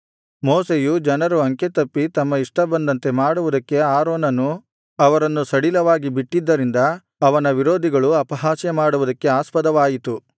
ಮೋಶೆಯು ಜನರು ಅಂಕೆ ತಪ್ಪಿ ತಮ್ಮ ಇಷ್ಟಬಂದಂತೆ ಮಾಡುವುದಕ್ಕೆ ಆರೋನನು ಅವರನ್ನು ಸಡಿಲವಾಗಿ ಬಿಟ್ಟಿದ್ದರಿಂದ ಅವನ ವಿರೋಧಿಗಳು ಅಪಹಾಸ್ಯಮಾಡುವುದಕ್ಕೆ ಆಸ್ಪದವಾಯಿತು